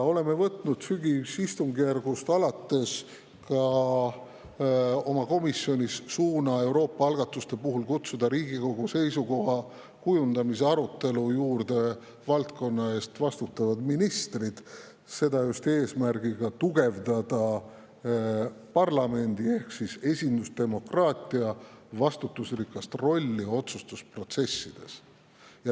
Oleme võtnud sügisistungjärgust alates oma komisjonis suuna kutsuda ka Euroopa algatuste puhul Riigikogu seisukoha kujundamise arutelule valdkonna eest vastutavad ministrid, seda just eesmärgiga tugevdada parlamendi vastutusrikast rolli ehk esindusdemokraatiat otsustusprotsessis.